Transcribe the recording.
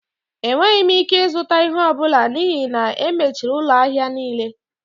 Enweghị m ike ịzụta ihe ọ bụla n'ihi na e mechiri ụlọ ahịa niile